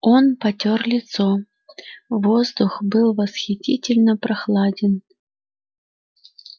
он потёр лицо воздух был восхитительно прохладен